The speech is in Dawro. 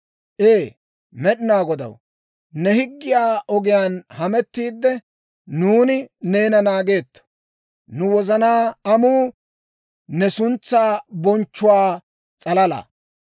Ee Med'inaa Godaw, ne higgiyaa ogiyaan hamettiidde, nuuni neena naageetto. Nu wozanaa amuu, ne suntsaa bonchchanawaa s'alalaa.